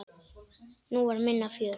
Nú var minna fjör.